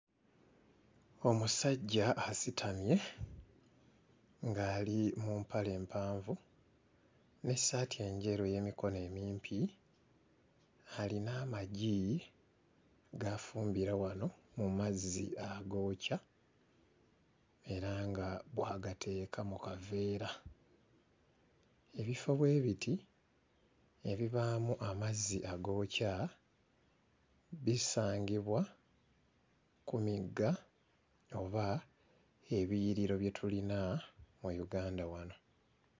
Omusajja asitamye ng'ali mu mpale mpanvu n'essaati enjeru ey'emikono emimpi. Alina amagi g'afumbira wano mu mazzi agookya era nga bw'agateeka mu kaveera. Ebifo bwe biti ebibaamu amazzi agookya bisangibwa ku migga oba ebiyiriro bye tulina mu Uganda wano.